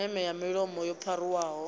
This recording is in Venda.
meme ya mulomo yo pharuwaho